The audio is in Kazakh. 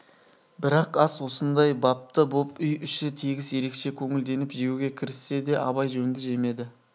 бірақ ас осындай бапты боп үй іші тегіс ерекше көңілденіп жеуге кіріссе де абай жөнді жемеді